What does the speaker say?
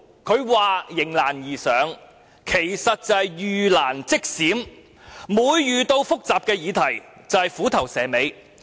他口中的"迎難而上"，其實是"遇難即閃"，每遇有複雜議題便"虎頭蛇尾"。